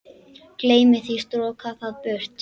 Gleymi því, stroka það burt.